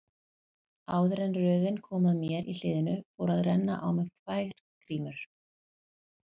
Áður en röðin kom að mér í hliðinu fóru að renna á mig tvær grímur.